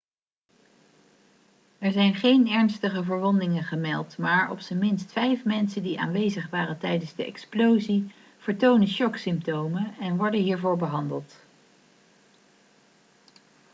er zijn geen ernstige verwondingen gemeld maar op zijn minst vijf mensen die aanwezig waren tijdens de explosie vertonen shocksymptomen en worden hiervoor behandeld